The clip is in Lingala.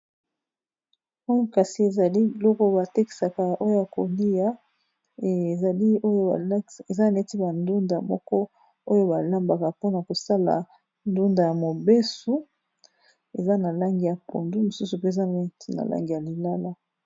Oyo kasi ezali biloko batekisaka oya kolia ezali oyo eza neti ba ndunda moko oyo balambaka mpona kosala ndunda ya mobesu eza na langi ya pondu mosusu pe eza neti na langi ya lilala.